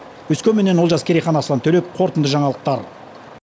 өскеменнен олжас керейхан аслан төлепов қорытынды жаңалықтар